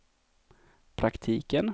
praktiken